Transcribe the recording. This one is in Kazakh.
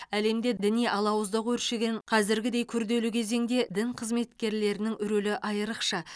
әлемде діни алауыздық өршіген қазіргідей күрделі кезеңде дін қызметкерлерінің рөлі айрықша